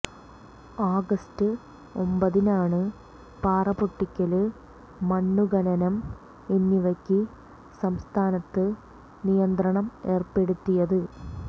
August ഒമ്പതിനാണ് പാറപൊട്ടിക്കല് മണ്ണു ഖനനം എന്നിവയ്ക്ക് സംസ്ഥാനത്ത് നിയന്ത്രണം ഏര്പ്പെടുത്തിയത്